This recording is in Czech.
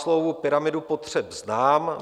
Maslowovu pyramidu potřeb znám.